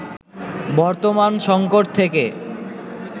বর্তমান সংকট থেকে